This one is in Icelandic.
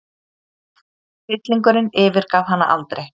Hryllingurinn yfirgaf hana aldrei.